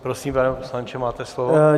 Prosím, pane poslanče, máte slovo.